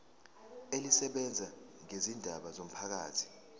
elisebenza ngezindaba zomphakathi